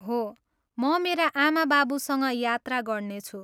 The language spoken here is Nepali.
हो, म मेरा आमाबाबुसँग यात्रा गर्नेछु।